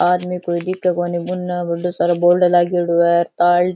आदमी कोई दिखे कोनी उनने बड़ो सारे बोर्ड लागेड़े है तार --